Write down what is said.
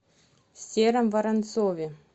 сером воронцове